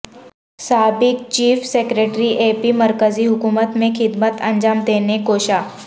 سابق chief secretary A P مرکزی حکومت میں خدمت انجام دینے کوشاں